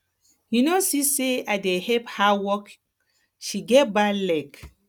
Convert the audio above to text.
you no see say i dey help her walk she get bad leg